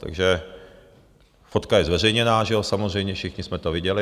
Takže - fotka je zveřejněná, samozřejmě, všichni jsme to viděli.